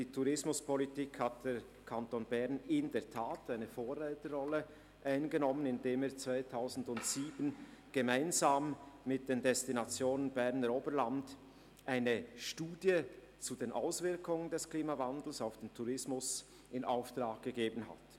Der Kanton Bern hat in der Tat eine Vorreiterrolle eingenommen, indem er 2007 gemeinsam mit den Destinationen im Berner Oberland eine Studie zu den Auswirkungen des Klimawandels auf den Tourismus in Auftrag gegeben hat.